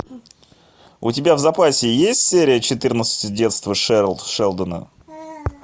у тебя в запасе есть серия четырнадцать детство шелдона